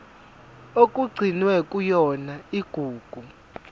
okugcinwe kuyona igugu